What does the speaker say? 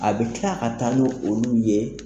A bɛ tila ka taa ni olu ye.